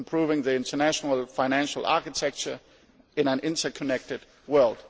improving the international financial architecture in an interconnected world